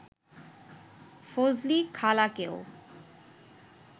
ফজলি খালাকেও